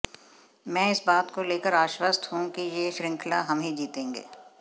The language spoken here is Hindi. मैं इस बात को लेकर आश्वस्त हूं कि यह श्रृंखला हम ही जीतेंगे